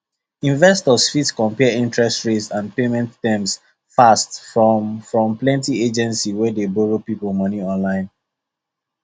investors fit compare interest rate and payment terms fast from from plenty agency wey dey borrow people money online